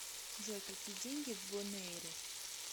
джой какие деньги в бонэйре